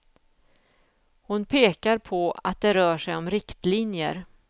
Hon pekar på att det rör sig om riktlinjer.